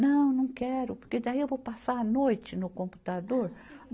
Não, não quero, porque daí eu vou passar a noite no computador.